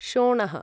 शोणः